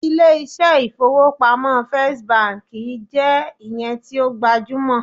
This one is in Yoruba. ilé iṣẹ ifowopamọ first Bank je iyen ti o gbajumo